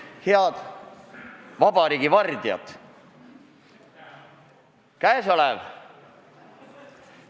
Head vabariigi vardjad!